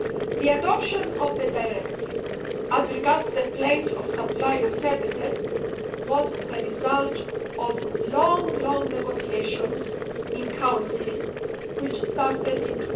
The adoption of the Directive, as regards the place of supply of services, was the result of long negotiations in Council which started in